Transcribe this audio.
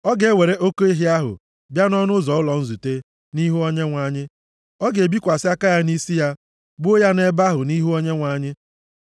Ọ ga-ewere oke ehi ahụ bịa nʼọnụ ụzọ ụlọ nzute, nʼihu Onyenwe anyị. Ọ ga-ebikwasị aka ya nʼisi ya, gbuo ya nʼebe ahụ nʼihu Onyenwe anyị.